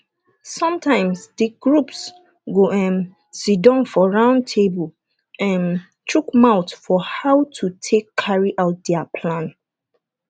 sometimes the groups go um sidon for round table um chook mouth for how to take carry out their plan